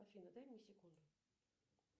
афина дай мне секунду